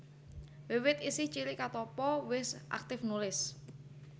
Wiwit isih cilik Katoppo wis aktif nulis